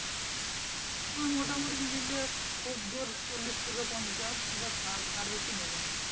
হ্যাঁ মোটামুটি নিলে খুব জোর চল্লিশ টি পঞ্চাশ কিংবা ষাট তার বেশি নেবে না